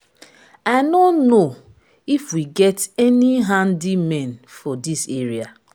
i no know if we get any handymen for dis area.